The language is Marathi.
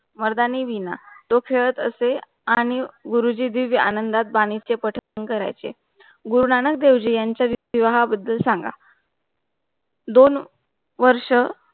मरधानी विना डोखस्त असे आणि गुरुजी दीव आनंदात बानी चे पटांग करायचे. गुरुनानक देवजी यांचा विवाहाबद्दल सांगा दोन वर्ष